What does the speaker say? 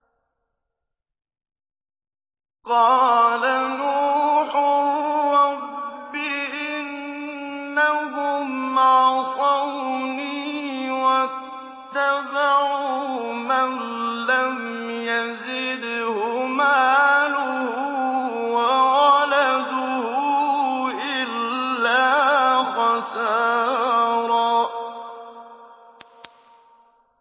قَالَ نُوحٌ رَّبِّ إِنَّهُمْ عَصَوْنِي وَاتَّبَعُوا مَن لَّمْ يَزِدْهُ مَالُهُ وَوَلَدُهُ إِلَّا خَسَارًا